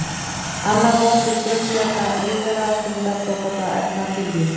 Annar hópur frumbjarga lífvera stundar svokallaða efnatillífun.